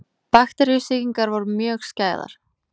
Bakteríusýkingar voru mjög skæðar.